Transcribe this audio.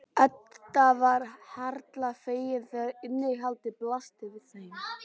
Edda varð harla fegin þegar innihaldið blasti við þeim.